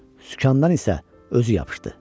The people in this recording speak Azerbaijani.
Sükandan isə özü yapışdı.